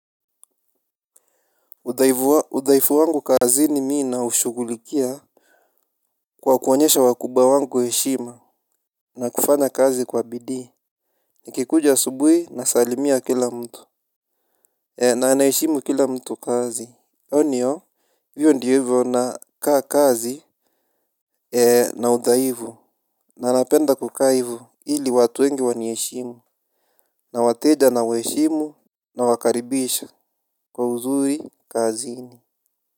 Udhaifu wangu kazini mi naushugulikia kwa kuwaonyesha wakubwa wangu heshima na kufanya kazi kwa bidii. Nikikuja asubuhi nasalimia kila mtu. Na naheshimu kila mtu kazi Oni hiyo ndiyo hivyo na kaa kazi. Na udhaifu na anapenda kuka hivu ili watu wengi wanaheshimu. Na wateja na waheshimu. Na wakaribisha. Kwa uzuri kazi ni.